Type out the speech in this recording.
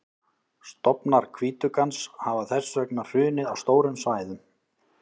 stofnar hvítuggans hafa þess vegna hrunið á stórum svæðum